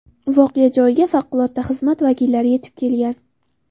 Voqea joyiga favqulodda xizmat vakillari yetib kelgan.